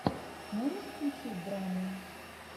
можешь включить драму